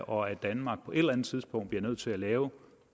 og at danmark på et eller andet tidspunkt bliver nødt til at lave